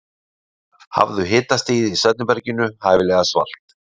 hafðu hitastigið í svefnherberginu hæfilega svalt